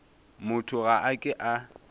motho ga a ke a